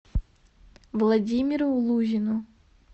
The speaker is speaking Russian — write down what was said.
владимиру лузину